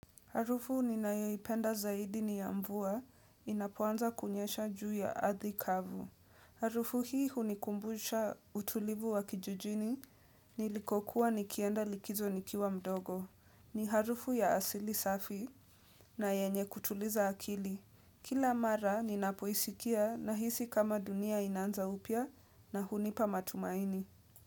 Harufu ninayaoipenda zaidi ni ya mvua inapoanza kunyesha juu ya ardhi kavu. Harufu hii hunikumbusha utulivu wa kijijini nilikokuwa nikienda likizo nikiwa mdogo. Ni harufu ya asili safi na yenye kutuliza akili. Kila mara ninapoisikia nahisi kama dunia inaanza upya na hunipa matumaini.